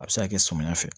A bɛ se ka kɛ samiya fɛ